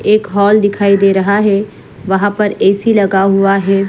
एक हॉल दिखाई दे रहा है वहा पर ऐ_सी लगा हुआ है।